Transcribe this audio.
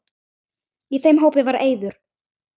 Í þeim hópi var Eiður.